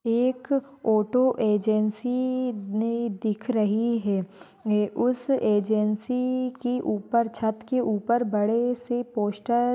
एक auto agency ने दिख रही है। उस एजन्सी ई की उपर छत के उपर बड़े से पोस्टर --